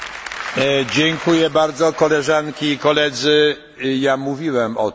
Mówiłem o tym, że Prezydium będzie dyskutowało już za godzinę.